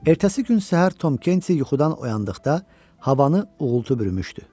Ertəsi gün səhər Tom Kenti yuxudan oyandıqda havanı uğultu bürümüşdü.